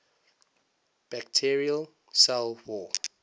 bacterial cell wall